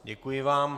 Děkuji vám.